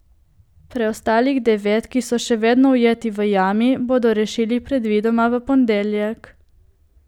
Preostalih devet, ki so še vedno ujeti v jami, bodo rešili predvidoma v ponedeljek.